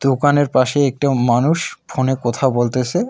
দোকানের পাশে একটি মানুষ ফোন -এ কথা বলতেছে।